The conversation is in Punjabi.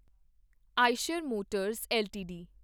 Eicher Motors LTD